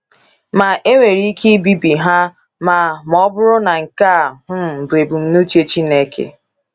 Ma, e nwere ike ibibi ha ma ma ọ bụrụ na nke a um bụ ebumnuche Chineke.